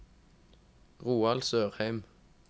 Roald Sørheim